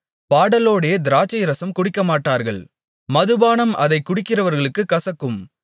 பாடலோடே திராட்சைரசம் குடிக்கமாட்டார்கள் மதுபானம் அதைக் குடிக்கிறவர்களுக்குக் கசக்கும்